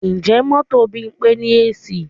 Ǹjẹ́ mọ́tò Bímpé ní AC?